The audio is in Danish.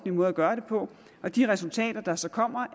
måde at gøre det på og de resultater der så kommer